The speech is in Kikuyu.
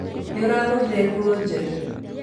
Nĩũragũrire nguo njerũ?